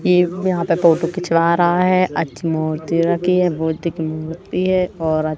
एक यहां पे फोटो खिंचवा रहा है अच्छी मूर्ति रखी है बुद्ध की मूर्ति है और--